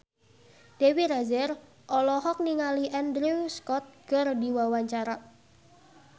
Dewi Rezer olohok ningali Andrew Scott keur diwawancara